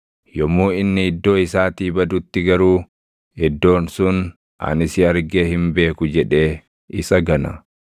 Yommuu inni iddoo isaatii badutti garuu, iddoon sun, ‘Ani si argee hin beeku’ jedhee isa gana.